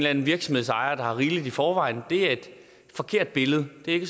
anden virksomhedsejer der har rigeligt i forvejen er et forkert billede det er ikke